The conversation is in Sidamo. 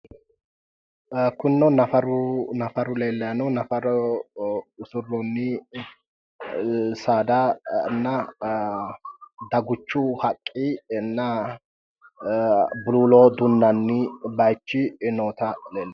Kunino nafaru, nafaru leellayi no nafara usurroonni saadanna daguchu haqqinna buluulo dunnanni baayichi noota leellishanno.